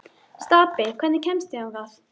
Stapi, hvernig kemst ég þangað?